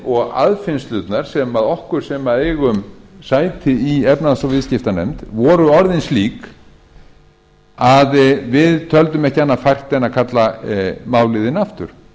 og aðfinnslurnar sem á okkur sem eigum sæti í efnahags og viðskiptanefnd voru orðin slík að við töldum ekki annað fært en að kalla málið inn aftur